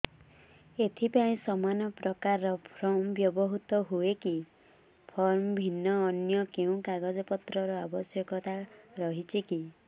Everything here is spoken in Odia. ଏଥିପାଇଁ ସମାନପ୍ରକାର ଫର୍ମ ବ୍ୟବହୃତ ହୂଏକି ଫର୍ମ ଭିନ୍ନ ଅନ୍ୟ କେଉଁ କାଗଜପତ୍ରର ଆବଶ୍ୟକତା ରହିଛିକି